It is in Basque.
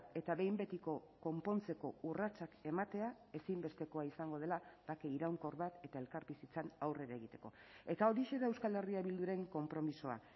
eta behin betiko konpontzeko urratsak ematea ezinbestekoa izango dela bake iraunkor bat eta elkarbizitzan aurrera egiteko eta horixe da euskal herria bilduren konpromisoa